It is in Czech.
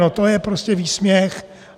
No to je prostě výsměch!